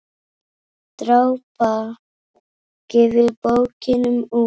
Drápa gefur bókina út.